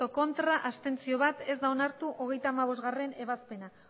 ez bat abstentzio ez da onartu hogeita hamabostgarrena ebazpena